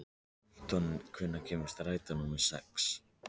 Anton, hvenær kemur strætó númer sex?